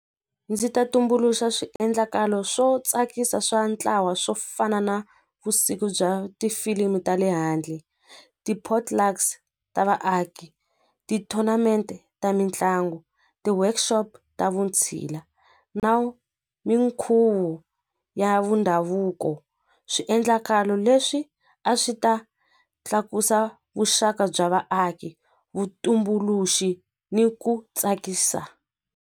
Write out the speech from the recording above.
Ndzi ta tumbuluxa swiendlakalo swo tsakisa swa ntlawa swo fana na vusiku bya tifilimu ta le handle ti-portlux ta vaaki ti-tournament ta mitlangu ti-workshop ta vutshila na minkhuvo ya vundhavuko swiendlakalo leswi a swi ta tlakusa vuxaka bya vaaki vutumbuluxi ni ku tsakisa.